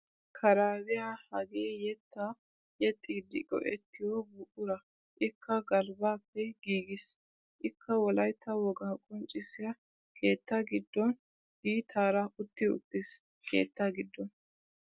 Karaabiya hagee yettaa yexxiidi go'ettiyo buquraa ikka galbaappe giiggiis, ikka wolaytta wogaa qonccissiya keettaa giddon diittaara utti uttiis keettaa giddon.